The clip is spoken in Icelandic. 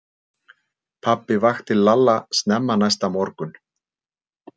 Pabbi vakti Lalla snemma næsta morgun.